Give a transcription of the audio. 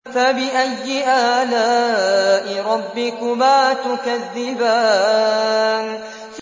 فَبِأَيِّ آلَاءِ رَبِّكُمَا تُكَذِّبَانِ